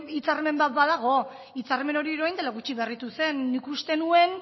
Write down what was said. hitzarmen bat badago hitzarmen hori orain dela gutxi berritu zen nik uste nuen